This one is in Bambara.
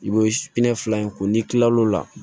I bɛ fila in ko n'i kilal'o la